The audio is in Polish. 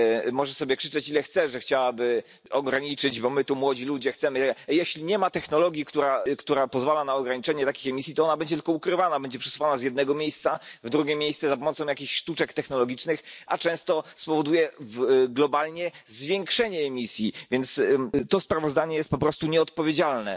Może sobie krzyczeć, ile chce, że chciałaby ograniczyć, bo my tu młodzi ludzie chcemy, ale jeśli nie ma technologii, która pozwala na ograniczenie takich emisji, to ona będzie tylko ukrywana, będzie przesuwana z jednego miejsca w drugie miejsce za pomocą jakichś sztuczek technologicznych, a często spowoduje globalnie zwiększenie emisji, więc to sprawozdanie jest po prostu nieodpowiedzialne.